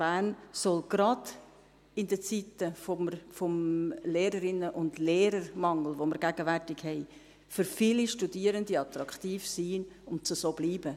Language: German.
Bern soll gerade in Zeiten des Lehrerinnen- und Lehrermangels, den wir gegenwärtig haben, für viele Studierende attraktiv sein und dies auch bleiben.